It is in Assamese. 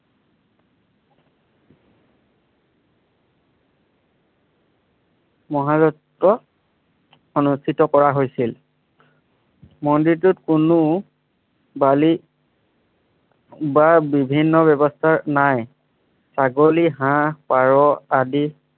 মহাৰত্ত অনুষ্ঠিত কৰা হৈছিল। মন্দিৰটোত কোনো বালি বা বিভিন্ন ব্যৱস্থা নায়। ছাগলী, হাঁহ, পাৰ আদি।